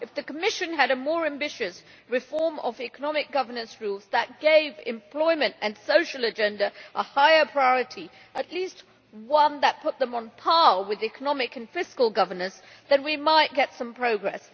If the Commission had a more ambitious reform of economic governance rules that gave employment and the social agenda a higher priority, at least one that put them on par with economic and fiscal governance, then we might get some progress.